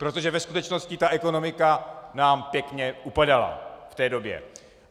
Protože ve skutečnosti ta ekonomika nám pěkně upadala v té době.